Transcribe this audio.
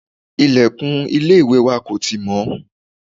ilẹ̀kùn ilé ìwẹ̀ wa kò tì mọ́